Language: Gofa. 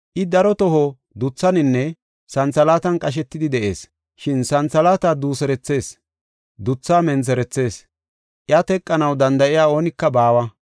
I daro toho duthaninne santhalaatan qashetidi de7ees. Shin santhalaata duuserethees, dutha mentherethees. Iya teqanaw danda7iya oonika baawa.